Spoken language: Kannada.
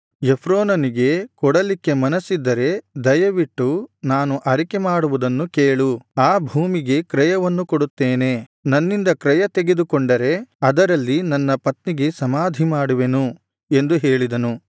ಎಫ್ರೋನನಿಗೆ ಕೊಡಲಿಕ್ಕೆ ಮನಸ್ಸಿದ್ದರೆ ದಯವಿಟ್ಟು ನಾನು ಅರಿಕೆಮಾಡುವುದನ್ನು ಕೇಳು ಆ ಭೂಮಿಗೆ ಕ್ರಯವನ್ನು ಕೊಡುತ್ತೇನೆ ನನ್ನಿಂದ ಕ್ರಯ ತೆಗೆದುಕೊಂಡರೆ ಅದರಲ್ಲಿ ನನ್ನ ಪತ್ನಿಗೆ ಸಮಾಧಿ ಮಾಡುವೆನು ಎಂದು ಹೇಳಿದನು